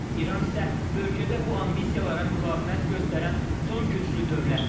İran isə bölgədə bu ambisiyalara müqavimət göstərən son güclü dövlətdir.